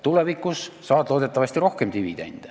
Tulevikus saad dividendi loodetavasti rohkem.